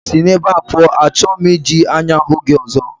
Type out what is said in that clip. Si na ebá pụọ, achọghị m iji anya hụ gị ọzọ